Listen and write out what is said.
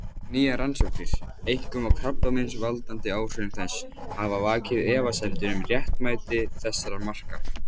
Nýjar rannsóknir, einkum á krabbameinsvaldandi áhrifum þess, hafa vakið efasemdir um réttmæti þessara marka.